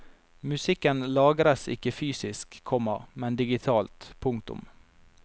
Musikken lagres ikke fysisk, komma men digitalt. punktum